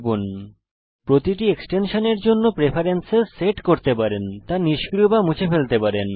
লক্ষ্য করুন প্রতিটি এক্সটেনশানের জন্য আপনি প্রেফেরেন্সেস সেট করতে পারেন তা নিষ্ক্রিয় বা মুছে ফেলতে পারেন